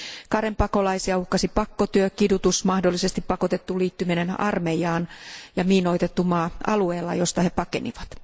Karenipakolaisia uhkasi pakkotyö, kidutus, mahdollisesti pakotettu liittyminen armeijaan ja miinoitettu maa alueella, josta he pakenivat.